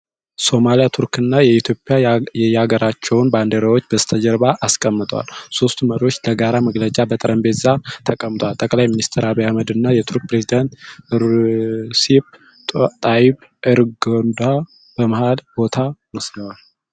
ሶማሊያ፣ ቱርክ እና ኢትዮጵያ የየአገራቸውን ባንዲራዎች በስተጀርባ አስቀምጠዋል። ሦስቱ መሪዎች ለጋራ መግለጫ በጠረጴዛ ተቀምጠዋል። ጠቅላይ ሚኒስትር አብይ አህመድ እና የቱርኩ ፕሬዝዳንት ሬሲፕ ጣይብ ኤርዶጋን በመሃል ቦታ ወስደዋል።